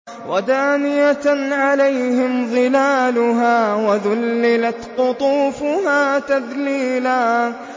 وَدَانِيَةً عَلَيْهِمْ ظِلَالُهَا وَذُلِّلَتْ قُطُوفُهَا تَذْلِيلًا